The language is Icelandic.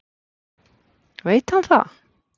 Veit hann það?